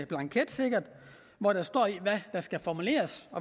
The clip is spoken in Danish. blanket hvor der står